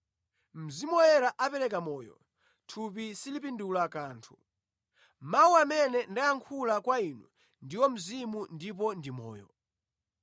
Mzimu Woyera apereka moyo, thupi silipindula kanthu. Mawu amene ndayankhula kwa inu ndiwo mzimu ndipo ndi moyo.